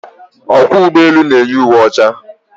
Ọkwọ ụgbọelu na-eyi uwe ọcha.